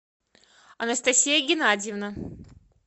анастасия геннадьевна